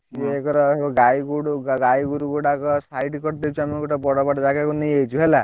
ଜଉ ଏଗୁରାକ ସବୁ ଗାଈଗୋରୁ ଗାଈଗୋରୁ ଗୁଡାକ side କରିଦେଇଛୁ ଆମେ ଗୋଟେ ବଡବଡ ଯାଗାକୁ ନେଇଯାଇଛୁ ହେଲା।